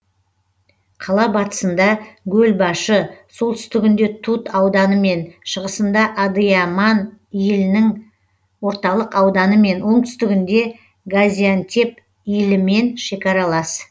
қала батысында гөлбашы солтүстігінде тут ауданымен шығысында адыяман илінің орталық ауданымен оңтүстігінде газиантеп илімен шекаралас